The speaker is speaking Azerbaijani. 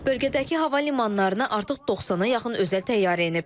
Bölgədəki hava limanlarına artıq 90-a yaxın özəl təyyarə enib.